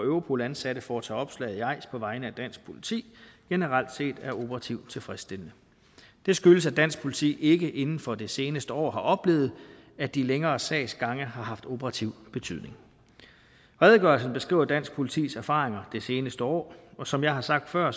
europol ansatte får til opslag i eis på vegne af dansk politi generelt set er operativt tilfredsstillende det skyldes at dansk politi ikke inden for det seneste år har oplevet at de længere sagsgange har haft operativ betydning redegørelsen beskriver dansk politis erfaringer det seneste år og som jeg har sagt før